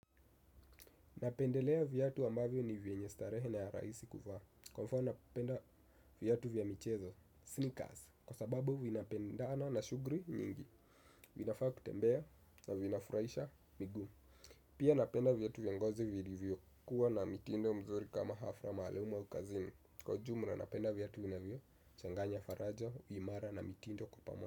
Napendelea viatu ambavyo ni vyenye starehe na ya rahisi kuvaa. Kwa mfano napenda viatu vya michezo, sneakers, kwa sababu vinapendana na shughuli nyingi. Vinafaa kutembea na vinafuraisha miguu. Pia napenda viatu vya ngozi vilivyokuwa na mitindo mzuri kama hafla maalumu au kazini. Kwa ujumla napenda viatu vinavyochanganya faraja, uimara na mitindo kwa pamoja.